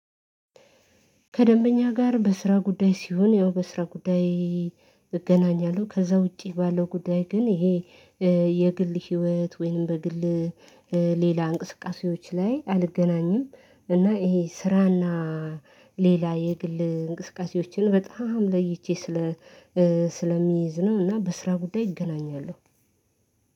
ከደንበኛ ጋር በስራ ጉዳይ ሲሆን ያው በስራ ጉዳይ እገናኛለሁ። ከዛ ውጪ ባለው ጉዳይ ግን ይሄ የግል ህይወት ወይንም በግል ሌላ እንቅስቃሴዎች ላይ አልገናኝም። እና ይሄ ስራና ሌላ የግል እንቅስቃሴዎችን በጣም ለይቼ ስለ ስለሚይዝ ነው። እና በስራ ጉዳይ እገናኛለሁ።